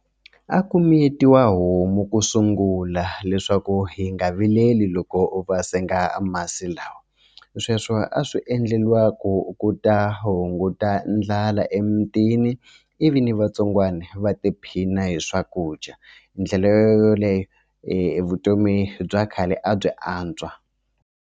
A ku miyetiwa homu ku sungula leswaku hi nga vileli loko u va senga masi lawa sweswo a swi endleriwa ku ku ta hunguta ndlala emutini ivi na vatsongwana va tiphina hi swakudya hi ndlela yoleyo vutomi bya khale a byi antswa.